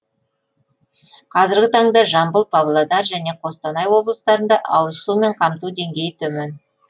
қазіргі таңда жамбыл павлодар және қостанай облыстарында ауызсумен қамту деңгейі төмен